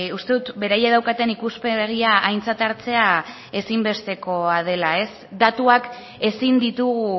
uste dut beraiek daukaten ikuspegia aintzat hartzea ezinbestekoa dela datuak ezin ditugu